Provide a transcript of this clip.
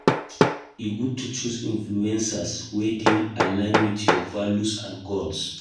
E good to choose influencers wey dey align with your values and goals.